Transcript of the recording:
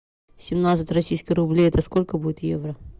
семнадцать российских рублей это сколько будет евро